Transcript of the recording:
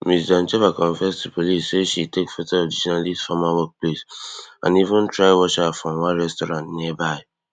ms doncheva confess to police say she take foto of di journalist former workplace and even try watch her from one restaurant nearby